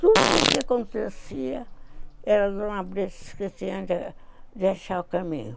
Tudo que acontecia era de um abrigo que tinha de deixar o caminho.